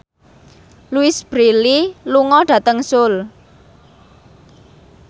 Louise Brealey lunga dhateng Seoul